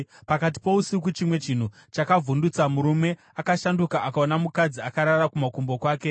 Pakati pousiku chimwe chinhu chakavhundutsa murume, akashanduka akaona mukadzi akarara kumakumbo kwake.